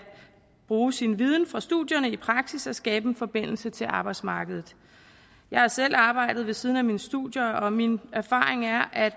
bruge sin viden fra studierne i praksis og skabe en forbindelse til arbejdsmarkedet jeg har selv arbejdet ved siden af mine studier og min erfaring er at